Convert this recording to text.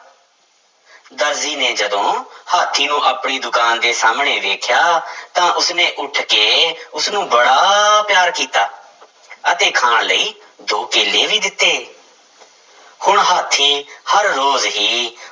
ਦਰਜੀ ਨੇ ਜਦੋਂ ਹਾਥੀ ਨੂੰ ਆਪਣੀ ਦੁਕਾਨ ਦੇ ਸਾਹਮਣੇ ਵੇਖਿਆ ਤਾਂ ਉਸਨੇ ਉੱਠ ਕੇ ਉਸਨੂੰ ਬੜਾ ਪਿਆਰ ਕੀਤਾ ਅਤੇ ਖਾਣ ਲਈ ਦੋ ਕੇਲੇ ਵੀ ਦਿੱਤੇ ਹੁਣ ਹਾਥੀ ਹਰ ਰੋਜ਼ ਹੀ